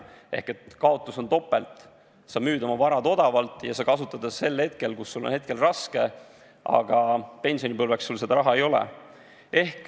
Ehk kaotus on topelt: sa müüd oma vara odavalt ja sa kasutad seda hetkel, kus sul on raske, aga pensionipõlveks sul seda raha ei ole.